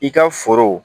I ka foro